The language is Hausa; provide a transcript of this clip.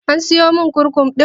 An siyomin kurkum ɗin?